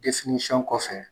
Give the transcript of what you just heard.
kɔfɛ